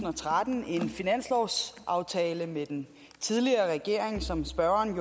og tretten en finanslovsaftale med den tidligere regering som spørgerens